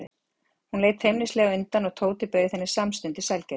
Hún leit feimnislega undan og Tóti bauð henni samstundis sælgæti.